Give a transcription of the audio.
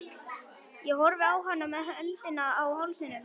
Ég horfði á hana með öndina í hálsinum.